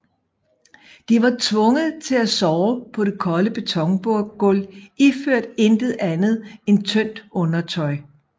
De var tvunget til at sove på det kolde betongulv iført intet andet end tyndt undertøj